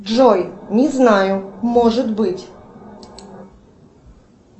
джой не знаю может быть